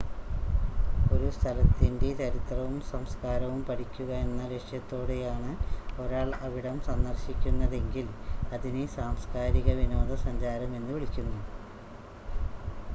ഒരു സ്ഥലത്തിൻ്റ ചരിത്രവും സംസ്കാരവും പഠിക്കുക എന്ന ലക്ഷ്യത്തോടെയാണ് ഒരാൾ അവിടം സന്ദർശിക്കുന്നതെങ്കിൽ അതിനെ സാംസ്കാരിക വിനോദസഞ്ചാരം എന്ന് വിളിക്കുന്നു